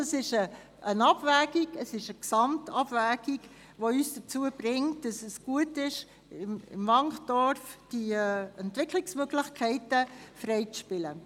Es ist eine Gesamtabwägung, die uns dazu bringt zu sagen, dass es gut ist, im Wankdorf die Entwicklungsmöglichkeiten freizuspielen.